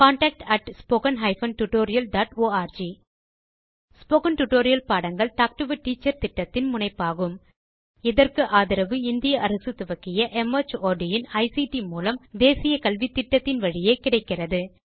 contact spoken hyphen tutorial dot org spoken tutorial பாடங்கள் talk to a teacher திட்டத்தின் முனைப்பாகும் இதற்கு ஆதரவு இந்திய அரசு துவக்கிய மார்ட் இன் ஐசிடி மூலம் தேசிய கல்வித்திட்டத்தின் வழியே கிடைக்கிறது